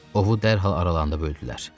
Ovu dərhal aralarında böldülər.